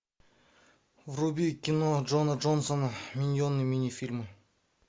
вруби кино джона джонсона миньоны мини фильм